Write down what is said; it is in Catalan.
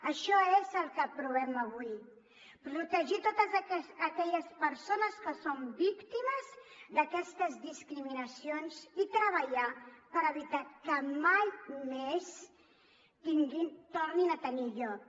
això és el que aprovem avui protegir totes aquelles persones que són víctimes d’aquestes discriminacions i treballar per evitar que mai més tornin a tenir lloc